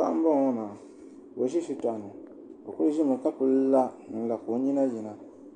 Paɣa n boŋo ŋo maa ka o ʒi shitoɣu ni o ku ʒimi ka ku la ka o nyina yina